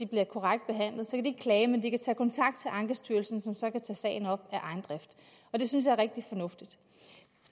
bliver korrekt behandlet ikke klage men de kan tage kontakt til ankestyrelsen som så kan tage sagen op af egen drift og det synes jeg er rigtig fornuftigt